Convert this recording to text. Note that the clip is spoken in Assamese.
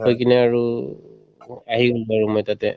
কৈ কিনে আৰু উম আহি গলো বাৰু মই তাতে